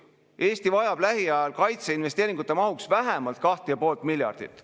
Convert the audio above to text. Eesti vajab lähiajal kaitseinvesteeringute mahuks vähemalt 2,5 miljardit.